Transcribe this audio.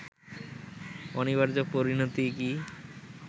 অনিবার্য পরিণতি কি